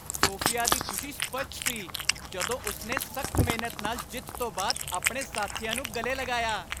Sophia ਦੀ ਖੁਸ਼ੀ ਸਪੱਸ਼ਟ ਸੀ ਜਦੋਂ ਉਸਨੇ ਸਖ਼ਤ ਮਿਹਨਤ ਨਾਲ ਜਿੱਤ ਤੋਂ ਬਾਅਦ ਆਪਣੇ ਸਾਥੀਆਂ ਨੂੰ ਗਲੇ ਲਗਾਇਆ।